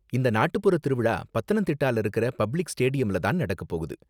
இந்த நாட்டுப்புறத் திருவிழா பத்தனந்திட்டால இருக்குற பப்ளிக் ஸ்டேடியம்ல தான் நடக்க போகுது.